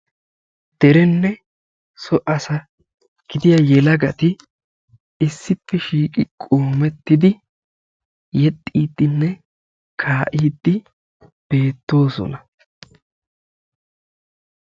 Derenne so asa gidiyaa yelagati issippe shiiqi qoommettidi yexxidinne kaa'idi beettoosona.